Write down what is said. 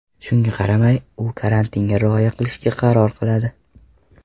Shunga qaramay, u karantinga rioya qilishga qaror qiladi.